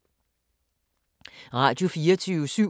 Radio24syv